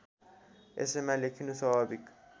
यसैमा लेखिनु स्वाभाविक